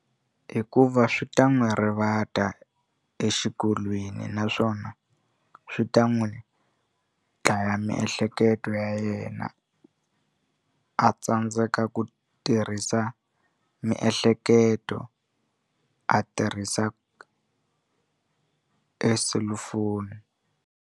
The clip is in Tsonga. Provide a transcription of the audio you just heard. Hikuva swi ta n'wi rivata exikolweni naswona swi ta n'wi dlaya miehleketo ya yena a tsandzeka ku tirhisa miehleketo a tirhisa e selufoni.